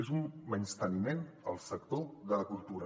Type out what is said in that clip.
és un menysteniment al sector de la cultura